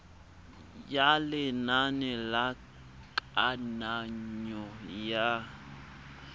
ya lenane la kananyo ya